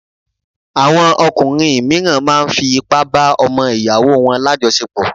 Àwọn ọkùnrin mìíràn máa fi ipá bá ọmọ ìyàwó wọn lájọsepọ̀